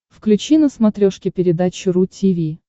включи на смотрешке передачу ру ти ви